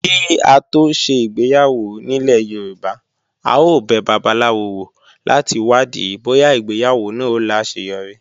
Kí á tó ṣe ìgbéyàwó nílẹ̀ Yorùbá, a ó bẹ babaláwo wò láti wádìí bóyá ìgbéyàwó náà ó láseyọrí.